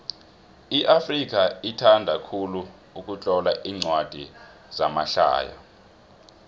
iafrika ithanda khulu ukutlola incwadi zamahlaya